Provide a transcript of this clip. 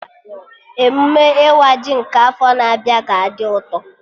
Emụme ịwa ji nke afọ na-abịa ga-adị ụtọ